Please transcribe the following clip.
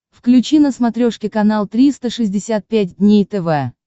включи на смотрешке канал триста шестьдесят пять дней тв